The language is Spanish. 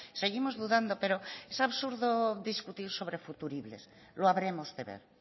seguimos dudando pero es absurdo discutir sobre futuribles lo habremos de ver